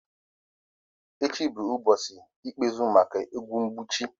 Echi bụ ụbọchị ikpeazụ maka ọgwụ mgbochi.